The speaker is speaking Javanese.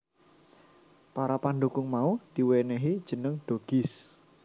Para pandhukung mau diwènèhi jeneng Doggys